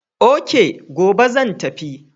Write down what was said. Ok, gobe zan tafi.